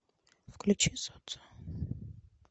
включи солнце